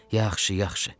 Yaxşı, yaxşı.